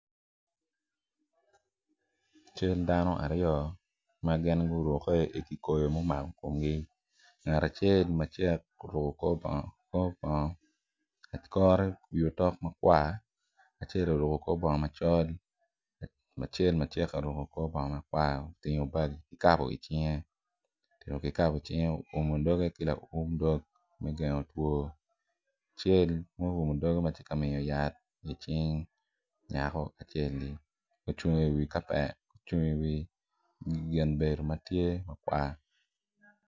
Cal dano aryo ma gin gurukke i kikoi ma omako komgi ngat acel macek oruko korbongo iwie otok makwar acel oruko korbongo macol acel macek oruko korbongo makwar otingo kikapo icinge oumo doge ki lawum dog me gengo two acel ma oumo doge ma tye ka miyo yat icing nyako acel-li ocung iwi kapet ocung iwi gin bedo matye makwar.